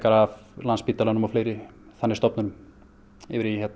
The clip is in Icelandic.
af Landspítalanum og fleiri þannig stofnunum yfir í